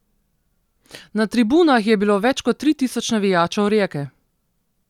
Na tribunah je bilo več kot tri tisoč navijačev Rijeke.